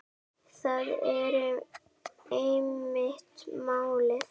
Það er einmitt málið.